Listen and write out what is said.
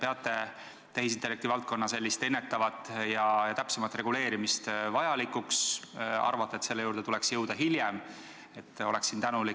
Ettevõtete n-ö väliskaubanduslik edu sõltub väga palju sellest, kuidasmoodi innovatsioon nendeni jõuab, ja siin on – te olete kindlasti põhjalikult tutvunud Euroopa Komisjoni raportiga Eesti innovatsiooni seisust – tehtud selle kohta ka väga konkreetseid ettepanekuid.